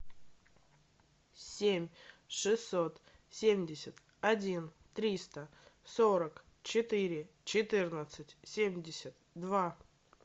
семь шестьсот семьдесят один триста сорок четыре четырнадцать семьдесят два